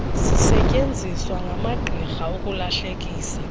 zisetyeenziswa ngamagqirha ukulahlekisa